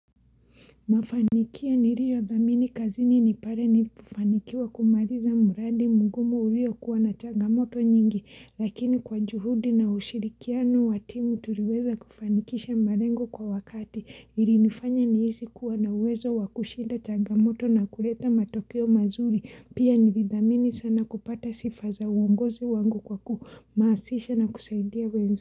Mafanikio niriyo dhamini kazini nipare nipofanikiwa kumariza muradi mungumu uliyo kuwa na chagamoto nyingi lakini kwa juhudi na ushirikiano wa timu turiweza kufanikisha marengo kwa wakati ili nifanya ni hizi kuwa na uwezo wakushida chagamoto na kuleta matokeo mazuri pia nividhamini sana kupata sifa za uongozi wangu kwa kumaasisha na kusaidia wezi.